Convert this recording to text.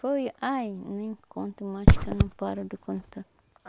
Foi, ai, nem conto mais, que eu não paro de contar.